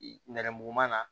Nɛrɛmuguman